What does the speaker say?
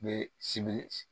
Be sibiri